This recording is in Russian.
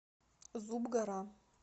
зуб гора